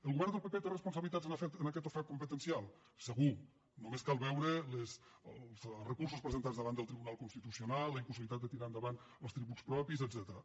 el govern del pp té responsabilitats en aquest ofec competencial segur només cal veure els recursos presentats davant del tribunal constitucional la impossibilitat de tirar endavant els tributs propis etcètera